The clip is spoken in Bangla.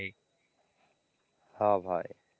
হ্যাঁ ভাই।